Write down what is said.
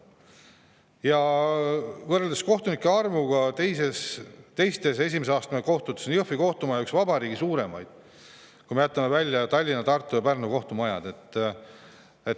Kui võrrelda kohtunike arvu esimese astme kohtutes, siis on Jõhvi kohtumaja üks vabariigi suurimaid, kui me jätame välja Tallinna, Tartu ja Pärnu kohtumaja.